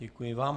Děkuji vám.